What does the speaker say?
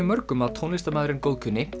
mörgum að tónlistarmaðurinn góðkunni